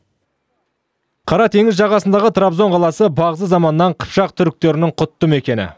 қара теңіз жағасындағы трабзон қаласы бағзы заманнан қыпшақ түріктерінің құтты мекені